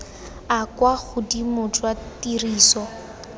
a kwa godimo jwa tiriso